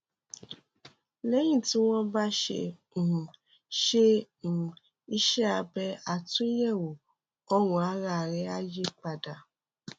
lẹyìn tí wọn bá ṣe um ṣe um iṣẹ abẹ àtúnyẹwò ọrùn ara rẹ á yí padà